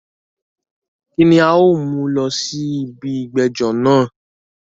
Kíni a o mú lọ sí ibi ìgbẹ́jọ́ náà?